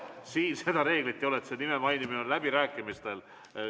Siin see reegel ei kehti, nime mainimise reegel kehtib läbirääkimistel.